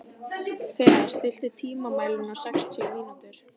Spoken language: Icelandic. Thea, stilltu tímamælinn á sextíu mínútur.